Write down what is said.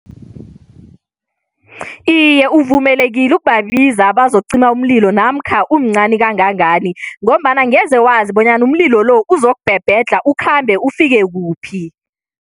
Iye, uvumelekile ukubiza bazokucima umlilo namkha umncani kangangani ngombana angeze wazi bonyana umlilo lo uzokubhebhedlha, ukhambe, ufike kuphi.